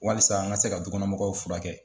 Walisa an ka se ka du kɔnɔ mɔgɔw fura kɛ.